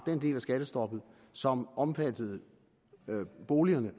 den del af skattestoppet som omfattet boligerne